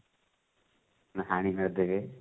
ନହେଲେ ହାଣି ମାରିଦେବେ